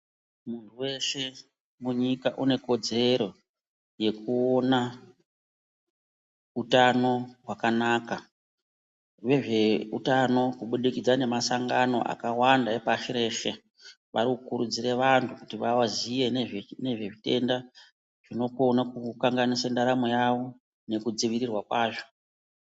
Munhu weshe munyika une kodzero yekuona utano hwakanaka vezveutano kubudikidza nemasangano akawanda epashi reshe varikukuridzira vantu kuti vaziye nezvezvitenda zvinokona kukukanganisa ndaramo yavo nekudzivirirwa kwazvo.